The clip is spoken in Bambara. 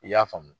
I y'a faamu